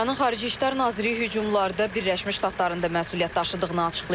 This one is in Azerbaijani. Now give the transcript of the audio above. İranın xarici İşlər naziri hücumlarda Birləşmiş Ştatların da məsuliyyət daşıdığını açıqlayıb.